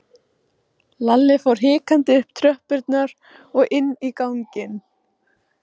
Lalli fór hikandi upp tröppurnar og inn í ganginn.